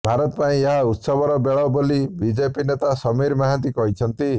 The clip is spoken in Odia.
ଭାରତ ପାଇଁ ଏହା ଉତ୍ସବର ବେଳ ବୋଲି ବିଜେପି ନେତା ସମୀର ମହାନ୍ତି କହିଛନ୍ତି